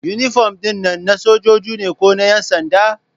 Inifom ɗin nan na sojoji ne ko na ƴansanda?